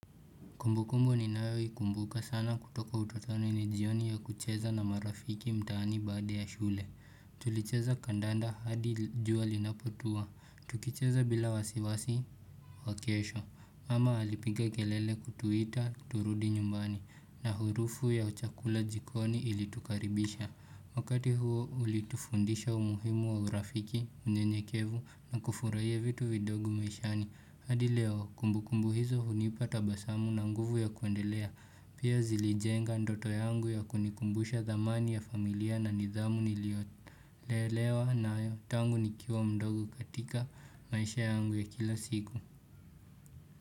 Kumbukumbu ninayo ikumbuka sana kutoka utotoni ni jioni ya kucheza na marafiki mtaani baada ya shule. Tulicheza kandanda hadi jua linapotua. Tukicheza bila wasiwasi wa kesho. Mama alipiga kelele kutuita turudi nyumbani na harufu ya chakula jikoni ilitukaribisha. Wakati huo ulitufundisha umuhimu wa urafiki, unyenyekevu na kufurahia vitu vidogo maishani. Hadi leo, kumbukumbu hizo hunipa tabasamu na nguvu ya kuendelea Pia zilijenga ndoto yangu ya kunikumbusha dhamani ya familia na nidhamu niliolelewa nayo, tangu nikiwa mdogu katika maisha yangu ya kila siku.